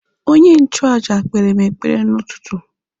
Onye nchụaja kpeere m ekpere n'ụtụtụ.